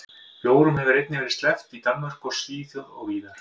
Bjórum hefur einnig verið sleppt í Danmörku og Svíþjóð og víðar.